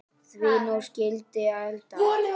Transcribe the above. Því nú skyldi eldað.